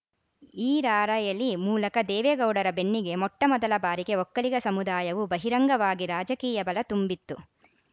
ಈ ರಾರ‍ಯಲಿ ಮೂಲಕ ದೇವೇಗೌಡರ ಬೆನ್ನಿಗೆ ಮೊಟ್ಟಮೊದಲ ಬಾರಿಗೆ ಒಕ್ಕಲಿಗ ಸಮುದಾಯವು ಬಹಿರಂಗವಾಗಿ ರಾಜಕೀಯ ಬಲ ತುಂಬಿತ್ತು